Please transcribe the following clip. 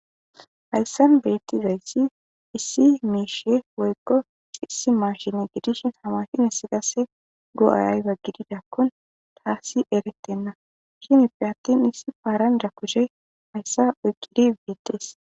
Hayissan betizayissi issi mishshe woyikko issi mashshin gidishshin haa mashshineza qase go'ayi ayoba gididakoni tasi eretenna cimeppe attin issi paranijja kushsheyi hayissa oyikkidi betees.